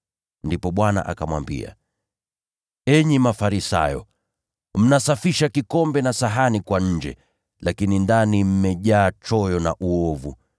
Ndipo Bwana akamwambia, “Sasa, enyi Mafarisayo, mnasafisha kikombe na sahani kwa nje, lakini ndani mmejaa unyangʼanyi na uovu.